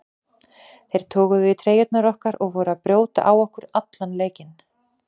Þeir toguðu í treyjurnar okkar og voru að brjóta á okkur allan leikinn.